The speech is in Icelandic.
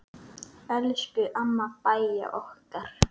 Elsku amma Bæja okkar.